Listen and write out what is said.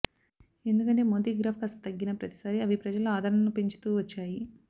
ఎందుకంటే మోదీ గ్రాఫ్ కాస్త తగ్గిన ప్రతిసారీ అవి ప్రజల్లో ఆదరణను పెంచుతూ వచ్చాయి